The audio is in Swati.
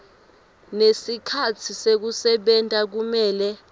nesikhatsi sekusebenta kumele